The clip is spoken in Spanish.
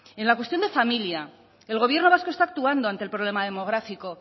en la cuestión de familia el gobierno vasco está actuando ante el problema demográfico